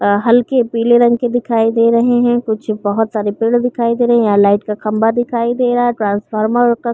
और हलके पीले रंग के दिखाई दे रहें हैं कुछ बहोत सारे पेड़ दिखाई दे रहें यहाँ लाइट का खम्बा दिखाई दे रहा है ट्रांसफार्मर क --